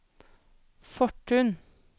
Fortun